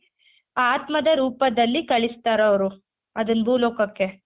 ಆತ್ಮದ ರೂಪದಲ್ಲಿ ಕಳಿಸ್ತಾರೆ ಅವ್ರು ಅದುನ್ ಭೂ ಲೋಕಕ್ಕೆ